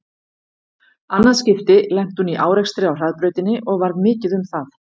Annað skipti lenti hún í árekstri á hraðbrautinni og varð mikið um það.